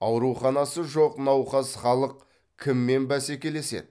ауруханасы жоқ науқас халық кіммен бәсекелеседі